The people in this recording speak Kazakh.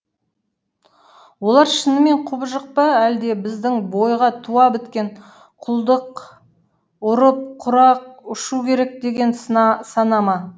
олар шынымен құбыжық па әлде біздің бойға туа біткен құлдық ұрып құрақ ұшу керек деген сана ма